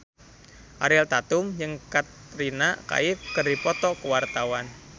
Ariel Tatum jeung Katrina Kaif keur dipoto ku wartawan